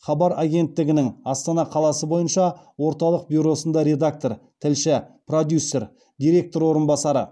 хабар агенттігінің астана қаласы бойынша орталық бюросында редактор тілші продюсер директор орынбасары